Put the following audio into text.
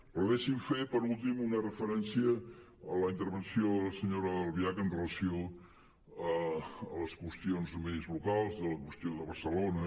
però deixin me fer per últim una referència a la intervenció de la senyora albiach amb relació a les qüestions més locals a la qüestió de barcelona